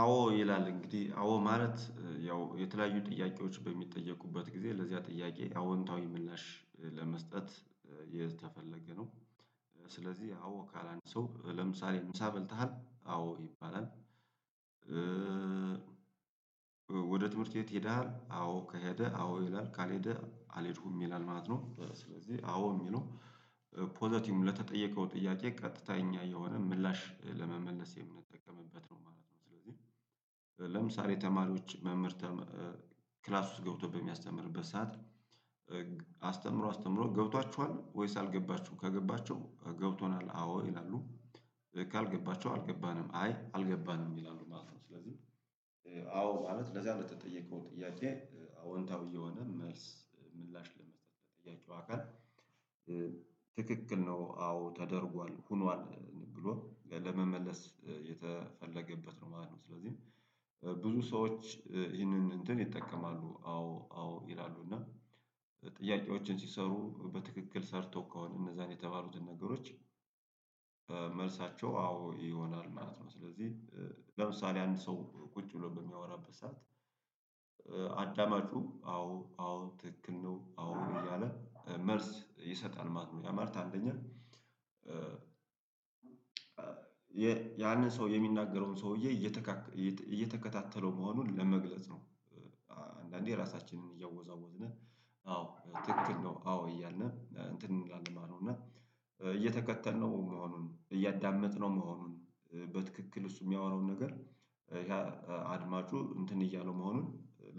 አዎ ይላል እንግዲህ አዎ ማለት ያው የተለያዩ ጥያቄዎች በሚጠየቁበት ጊዜ ለዚያ ጥያቄ አዎንታዊ ምላሽ ለመስጠት የተፈለገ ነው። ስለዚህ አዎ ካላንድ ሰው ለምሳሌ ምሳ በልተሃል አዎ ይባላል። ወደ ትምህርት ቤት ሄደሃል አዎ ከሄደ አዎ ይላል ካልሄደ አልሄድኩም ይላል ማለት ነው። ስለዚህ አዎ የሚለው ፖዘቲቭ ለተጠየቀው ጥያቄ ቀጥተኛ የሆነ ምላሽ ለመመለስ የምንጠቀምበት ነው ማለት ነው። ስለዚህ ለምሳሌ ተማሪዎች መምህር ክላስ ውስጥ ገብቶ በሚያስተምርበት ሰዓት አስተምሮ አስተምሮ ገብቷችኋል ወይስ አልገባችሁም ከገባችሁ ገብቶናል አዎ ይላሉ። ካልገባቸው አልገባንም አይ አልገባንም ይላሉ ማለት ነው። ስለዚህ አዎ ማለት ለዛ ነው የተጠየቀው ጥያቄ አዎንታዊ የሆነ መልስ ምላሽ ለመስጠት የጠየቀው አካል ትክክል ነው አዎ ተደርጓል ሆኗል ብሎ ለመመለስ የተፈለገበት ነው ማለት ነው። ስለዚህ ብዙ ሰዎች ይህንን እንትን ይጠቀማሉ አዎ አዎ ይላሉ እና ጥያቄዎችን ሲሰሩ በትክክል ሰርተው ከሆነ እነዛን የተባሉትን ነገሮች መልሳቸው አዎ ይሆናል ማለት ነው። ስለዚህ ለምሳሌ አንድ ሰው ቁጭ ብሎ በሚያወራበት ሰዓት አዳማጩ አዎ አዎ ትክክል ነው አዎ እያለ መልስ ይሰጣል ማለት ነው። ያማለት አንደኛ ያንን ሰው የሚናገረውን ሰውዬ እየተከታተለው መሆኑን ለመግለጽ ነው። አንዳንዴ ራሳችንን እያወዛወዝን አዎ ትክክል ነው አዎ እያልን እንትን እንላለን ማለት ነው። እና እየተከተልነው መሆኑን እያዳመጥነው መሆኑን በትክክል እሱ የሚያወራውን ነገር ያ አድማጩ እንትን እያለው መሆኑን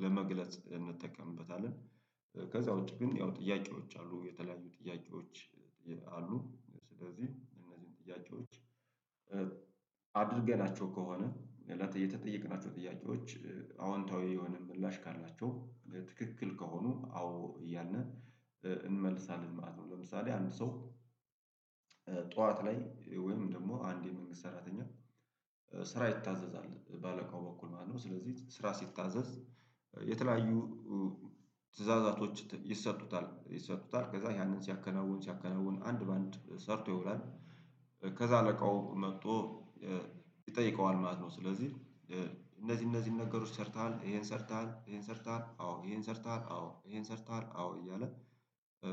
ለመግለጽ እንጠቀምበታለን። ከዛ ውጪ ግን ያው ጥያቄዎች አሉ የተለያዩ ጥያቄዎች አሉ። ስለዚህ እነዚህን ጥያቄዎች አድርገናቸው ከሆነ እና የተጠየቅናቸው ጥያቄዎች አዎንታዊ የሆነ ምላሽ ካላቸው ትክክል ከሆኑ አዎ እያልን እንመልሳለን ማለት ነው። ለምሳሌ አንድ ሰው ጠዋት ላይ ወይም ደግሞ አንድ የመንግስት ሰራተኛ ስራ ይታዘዛል በአለቃው በኩል ማለት ነው። ስለዚህ ስራ ሲታዘዝ የተለያዩ ትእዛዛቶች ይሰጡታል ይሰጡታል ከዛ ያንን ሲያከናውን ሲያከናውን አንድ በአንድ ሰርቶ ይሆናል ከዛ አለቃው መጥቶ ይጠይቀዋል ማለት ነው። ስለዚህ እነዚህ እነዚህን ነገሮች ሰርተሃል ይሄን ሰርተሃል ይሄን ሰርተሃል አዎ ይሄን ሰርተሃል አዎ ይሄን ሰርተሃል አዎ እያለ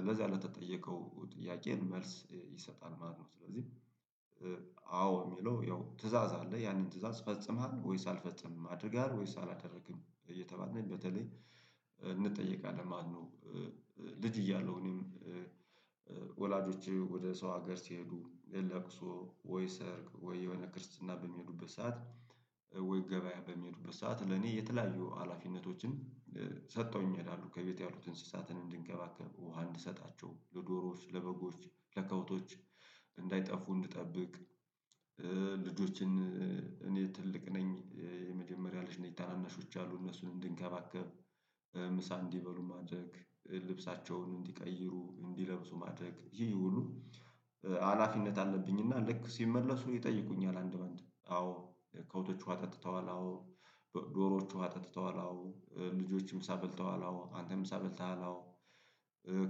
ለዚያ ለተጠየቀው ጥያቄን መልስ ይሰጣል ማለት ነው። ስለዚህ አዎ የሚለው ያው ትእዛዝ አለ ያንን ትእዛዝ ፈጽመሃል ወይስ አልፈፀምክም አድርገሃል ወይስ አላደረክም እየተባልን በተለይ እንጠየቃለን ማለት ነው። ልጅ እያለሁ እኔም ወላጆቼ ወደ ሰው ሀገር ሲሄዱ ለቅሶ ወይ ሰርግ ወይ የሆነ ክርስትና በሚሄዱበት ሰዓት ወይ ገበያ በሚሄዱበት ሰዓት ለኔ የተለያዩ ሀላፊነቶችን ሰጥተውኝ ይሄዳሉ ከቤት ያሉትን እንስሳትን እንድንከባከብ ውሃ እንድሰጣቸው ለዶሮዎች ለበጎች ለከብቶች እንዳይጠፉ እንድጠብቅ። ልጆችን እኔ ትልቅ ነኝ የመጀመሪያ ልጅ ነኝ ታናናሾች አሉ እነሱን እንድንከባከብ ምሳ እንዲበሉ ማድረግ ልብሳቸውን እንዲቀይሩ እንዲለብሱ ማድረግ ይህ ሁሉ ሀላፊነት አለብኝ። እና ልክ ሲመለሱ ይጠይቁኛል አንድ በአንድ አዎ ከብቶች ውሃ ተጥተዋል አዎ ዶሮዎች ውሃ ተጥተዋል አዎ ልጆች ምሳበ ልተዋል አዎ አንተ ምሳ በልተሃል አዎ።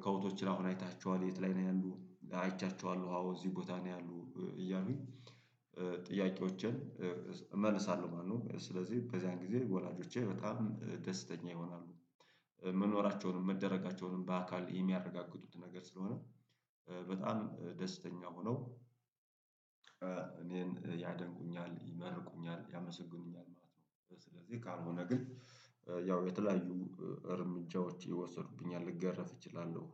ከብቶችን አሁን አይተሃቸዋል የት ላይ ነው ያሉ አይቻቸዋለሁ አዎ እዚህ ቦታ ነው ያሉ እያልኩኝ ጥያቄዎችን እመልሳለሁ ማለት ነው። ስለዚህ በዚያን ጊዜ ወላጆቼ በጣም ደስተኛ ይሆናሉ መኖራቸውንም መደረጋቸውንም በአካል የሚያረጋግጡት ነገር ስለሆነ በጣም ደስተኛ ሆነው እኔን ያደንቁኛል ይመርቁኛል ያመሰግኑኛል ማለት ነው። ስለዚህ ካልሆነ ግን ያው የተለያዩ እርምጃዎች ይወሰዱብኛል ልገረፍ እችላለሁ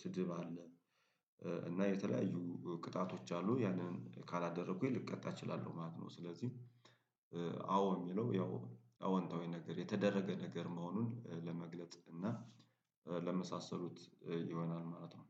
ስድብ አለ እና የተለያዩ ቅጣቶች አሉ ያንን ካላደረኩኝ ልቀጣ እችላለሁ ማለት ነው። ስለዚህ አዎ የሚለው ያው አዎንታዊ ነገር የተደረገ ነገር መሆኑን ለመግለጽ እና ለመሳሰሉት ይሆናል ማለት ነው።